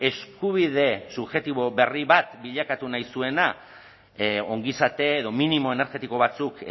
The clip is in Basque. eskubide subjektibo berri bat bilakatu nahi zuena ongizate edo minimo energetiko batzuk